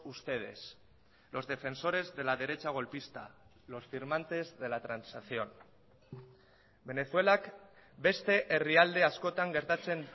ustedes los defensores de la derecha golpista los firmantes de la transacción venezuelak beste herrialde askotan gertatzen